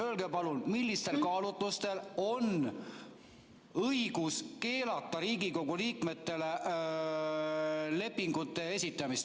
Öelge palun, millistel kaalutlustel on õigus keelata Riigikogu liikmetele lepingute esitamist.